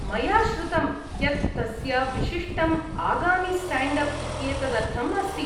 मया श्रुतं यत् तस्य विशिष्टम् आगामि स्टैण्ड् अप् इत्येतदर्थम् अस्ति।